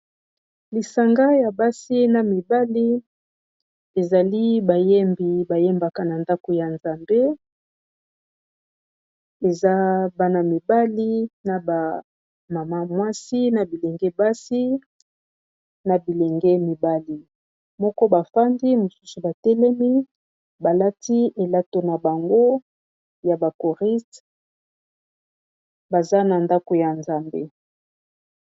Lisanga ya basi na mibali ezali bayembi, ba yembamka na ndaku ya Nzambe , eza bana mibali na ba maman mwasi na bilenge basi na bilenge mibali. Moko a fandi, ba misusu ba telemi, ba lati elato na bango ya choristes, baza na ndaku ya Nzambe..